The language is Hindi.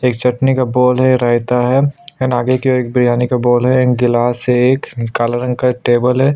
एक चटनी का बॉल है रायता है एंड आगे ओर एक बिरयानी का बॉल है एंड गिलास है एक काला रंग का एक टेबल है।